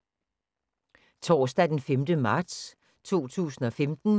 Torsdag d. 5. marts 2015